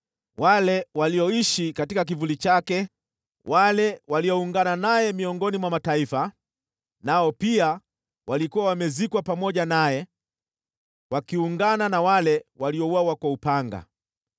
Wale walioishi katika kivuli chake, wale walioungana naye miongoni mwa mataifa, nao pia walikuwa wamezikwa pamoja naye, wakiungana na wale waliouawa kwa upanga.